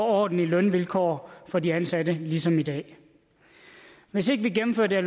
ordentlige lønvilkår for de ansatte ligesom i dag hvis ikke vi gennemfører det